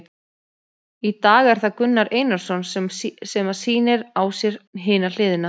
Í dag er það Gunnar Einarsson sem að sýnir á sér hina hliðina.